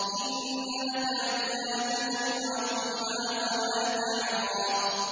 إِنَّ لَكَ أَلَّا تَجُوعَ فِيهَا وَلَا تَعْرَىٰ